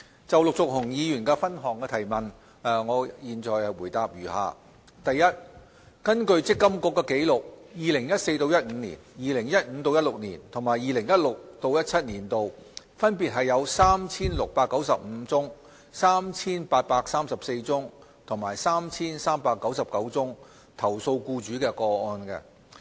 就陸頌雄議員的分項質詢，現答覆如下：一根據積金局的紀錄 ，2014-2015 年度、2015-2016 年度及 2016-2017 年度分別有 3,695 宗、3,834 宗和 3,399 宗投訴僱主的個案。